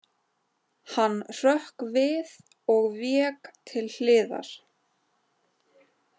Hann hrökk við og vék til hliðar.